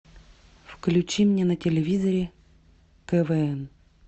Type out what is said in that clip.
включи мне на телевизоре квн